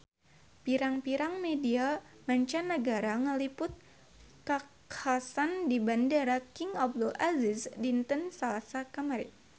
Pirang-pirang media mancanagara ngaliput kakhasan di Bandara King Abdul Aziz dinten Salasa kamari